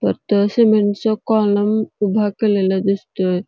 तर ते सीमेंट चे कॉलम उभे केलेले दिसतोय.